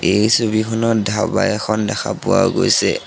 এই ছবিখনত ধাবা এখন দেখা পোৱা গৈছে।